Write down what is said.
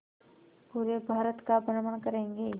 पूरे भारत का भ्रमण करेंगे